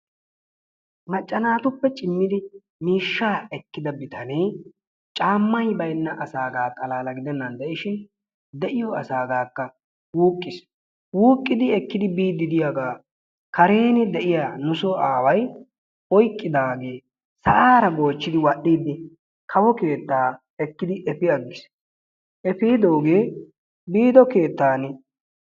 Macca naatuppe ciimmidi miishshaa eekkida bitanee caammay baynnaagaa xaalala gidennan de'iishin de'iyoo asagakka wuuqqiis. wuuqqidi ekkidi biidi de'iyaagaa karen eqqida nu soo aaway oyqqidaagee sa'aara goochchidi wal"iidi kawo keettaa ekkidi efi aggiis. efidoogee biido keettaan